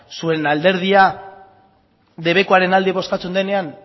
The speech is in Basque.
zuen alderdia debekuaren alde bozkatzen duenean